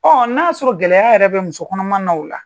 na y'a sɔrɔ gɛlɛya yɛrɛ bɛ musokɔnɔma na o la.